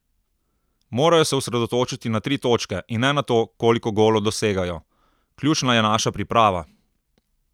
Morajo se osredotočiti na tri točke in ne na to, koliko golov dosegajo: "Ključna je naša priprava.